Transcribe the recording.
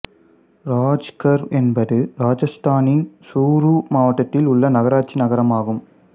இராஜ்கர் என்பது ராஜஸ்தானின் சூரூ மாவட்டத்தில் உள்ள நகராட்சி நகரமாகும்